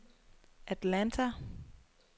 Atlanta